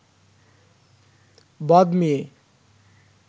বদ মেয়ে